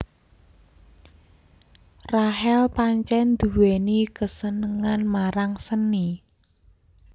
Rachel pancèn nduwèni kasenengan marang seni